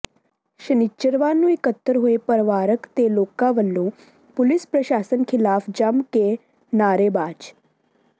ਸ਼ਨਿੱਚਰਵਾਰ ਨੂੰ ਇੱਕਤਰ ਹੋਏ ਪਰਿਵਾਰਕ ਤੇ ਲੋਕਾਂ ਵਲੋਂ ਪੁਲਿਸ ਪ੍ਰਸ਼ਾਸਨ ਖਿਲਾਫ਼ ਜੰਮ ਕੇ ਨਾਅਰੇਬਾਜ਼